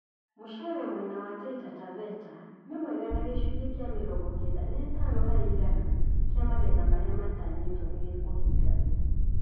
Mũcere mwena wa Taita Taveta nĩmwega na gĩcunjĩ kĩa mĩrongo kenda na ĩtano harĩ igana kia magetha marĩa matanyĩtwo nĩgĩkũhinga